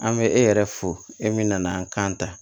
An bɛ e yɛrɛ fo e min nana an kan ta